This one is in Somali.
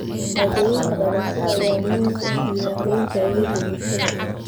Shahaadooyinka dhalashada ayaa muhiim u ah diiwaangelinta adeegga bulshada.